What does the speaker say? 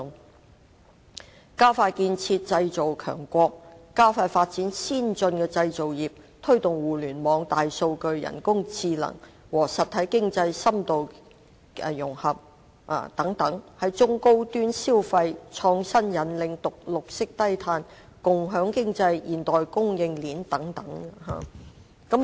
當中包括加快建設製造強國，加快發展先進的製造業，推動互聯網、大數據、人工智能和實體經濟深度融合等，在中高端消費、創新引領、綠色低碳、共享經濟、現代供應鏈等領域加以改善。